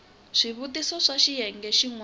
swivutiso swa xiyenge xin wana